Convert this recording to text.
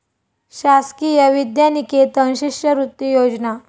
शासकीय विद्यानिकेतन शिष्यवृत्ती योजना